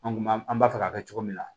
An kun b'a an b'a fɛ ka kɛ cogo min na